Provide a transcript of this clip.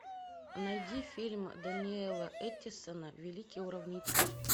найди фильм даниэла эттисона великий уравнитель